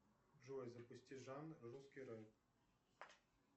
джой запусти жанр русский рэп